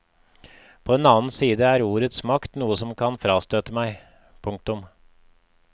På den annen side er ordets makt noe som kan frastøte meg. punktum